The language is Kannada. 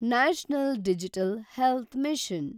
national digital health mission